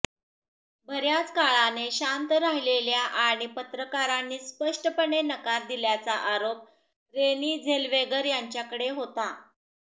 बर्याच काळाने शांत राहिलेल्या आणि पत्रकारांनी स्पष्टपणे नकार दिल्याचा आरोप रेनी झेलवेगर यांच्याकडे होता